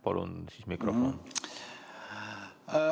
Palun siis mikrofon!